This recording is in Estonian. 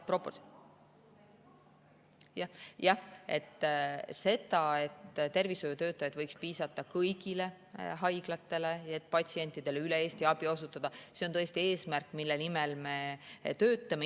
Jah, see, et tervishoiutöötajaid võiks piisata kõigile haiglatele, et patsientidele üle Eesti abi osutada, on tõesti eesmärk, mille nimel me töötame.